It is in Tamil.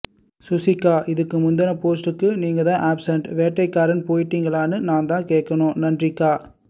சுசிக்கா இதுக்கு முந்துன போஸ்ட்டுக்கு நீங்கதான் ஆப்சண்ட் வேட்டைக்காரன் போயிட்டீங்களான்னு நாந்தான் கேக்கணும் நன்றிக்கா